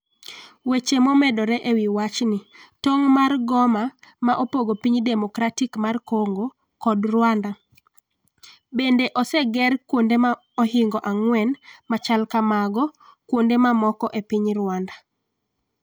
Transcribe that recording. weche momedore e wi wach ni. tong' mar Goma ma opogo Piny Demokratik mar Kongo kod Rwanda .Bende oseger kuonde mohingo ang'wen machal kamago kuonde mamoko e piny Rwanda.